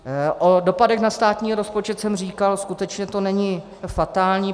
O dopadech na státní rozpočet jsem říkal, skutečně to není fatální.